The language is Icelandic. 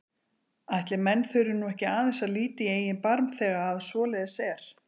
Ætli menn þurfi nú ekki aðeins að líta í eigin barm þegar að svoleiðis er?